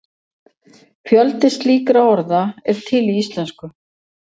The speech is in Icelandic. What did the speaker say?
Fjöldi slíkra orða er til í íslensku.